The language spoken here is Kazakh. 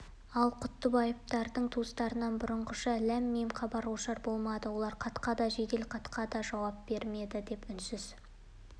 ал құттыбаевтардың туыстарынан бұрынғыша ләм-мим хабар-ошар болмады олар хатқа да жеделхатқа да жауап бермеді деп үнсіз